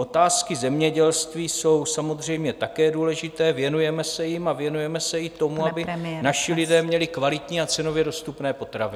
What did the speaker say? Otázky zemědělství jsou samozřejmě také důležité, věnujeme se jim a věnujeme se i tomu, aby naši lidé měli kvalitní a cenově dostupné potraviny.